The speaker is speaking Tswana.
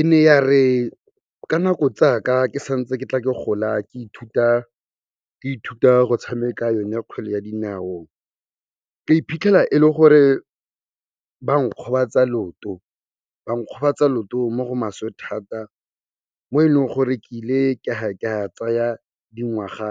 E ne yare ka nako tsaka ke santse ke tla ke gola ke ithuta go tshameka yone kgwele ya dinao, ka iphitlhela e le gore ba nkgobatsa looto. Ba nkgobatsa looto mo go maswe thata mo e leng gore ke ile ka tsaya dingwaga